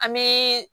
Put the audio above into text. An bɛ